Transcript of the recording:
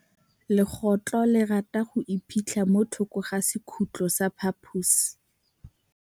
Legôtlô le rata go iphitlha mo thokô ga sekhutlo sa phaposi.